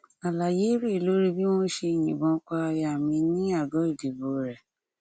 àlàyé rèé lórí bí wọn ṣe yìnbọn pa aya mi ní àgọ ìdìbò rẹ